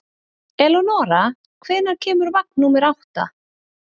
Eleonora, hvenær kemur vagn númer átta?